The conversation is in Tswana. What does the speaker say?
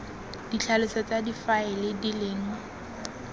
ditlhaloso tsa difaele di leng